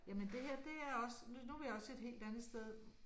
Jamen det her det er også nu er vi også et helt andet sted